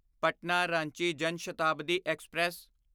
Patna Ranchi Jan Shatabdi express